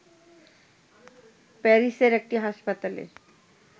প্যারিসের একটি হাসপাতালে